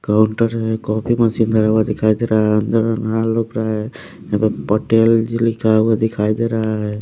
Counter है copy machine धरा हुआ दिखाई दे रहा है अंदर रुक रहा है यहाँ पर पटेल जी लिखा हुआ दिखाई दे रहा है।